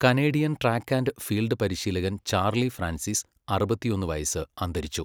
Canadian track and field പരിശീലകൻ Charlie Francis, അറുപത്തിയൊന്ന് വയസ്, അന്തരിച്ചു.